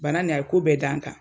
Bana nin a ye ko bɛɛ da n kan